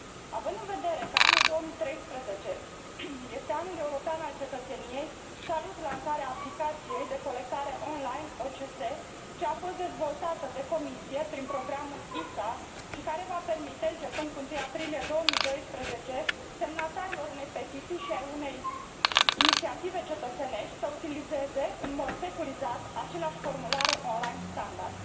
Având în vedere că anul 2013 este Anul european al cetățeniei, salut lansarea aplicației de colectare on line OCS, ce a fost dezvoltată de Comisie prin programul ISA și care va permite începând cu 1 aprilie 2012 semnatarilor unei petiții și ai unei inițiative cetățenești să utilizeze în mod securizat aceleași formulare on line standard.